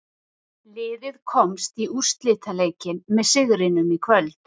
Liðið komst í úrslitaleikinn með sigrinum í kvöld.